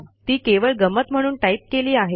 ती केवळ गंमत म्हणून टाईप केली आहेत